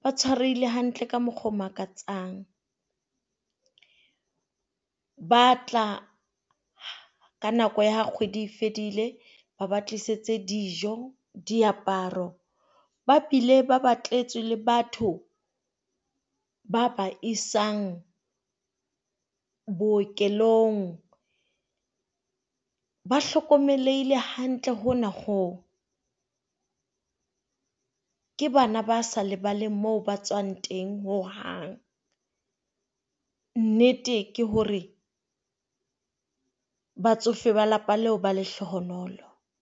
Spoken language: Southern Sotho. ba tshwarehile hantle ka mokgwa o makatsang. Ba a tla ka nako ya ha kgwedi e fedile. Ba ba tlisetsa dijo, diaparo ba bile ba batletswe le batho ba ba isang bookelong. Ba hlokomelehile hantle hona hoo. Ke bana ba sa lebaleng moo ba tswang teng ho hang. Nnete ke hore batsofe ba lelapa leo ba lehlohonolo.